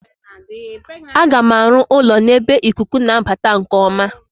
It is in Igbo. Aga m arụ ụlọ n'ebe ikuku na-abata nke ọma.